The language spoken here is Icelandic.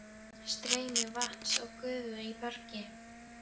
Streymi vatns og gufu í bergi